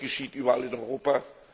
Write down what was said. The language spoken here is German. Das geschieht überall in Europa.